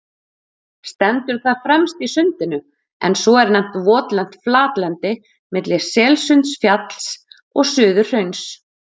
Stendur það fremst í Sundinu, en svo er nefnt votlent flatlendi milli Selsundsfjalls og Suðurhrauns.